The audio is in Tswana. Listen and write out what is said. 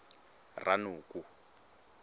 ranoko